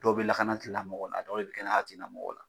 Dɔw bɛ lakana tilatigimɔgɔw la a dɔw bɛ kɛnɛya tigilamɔgɔw la